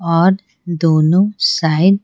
और दोनों साइड --